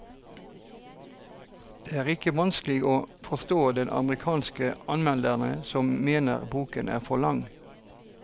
Det er ikke vanskelig å forstå de amerikanske anmeldere som mener boken er for lang.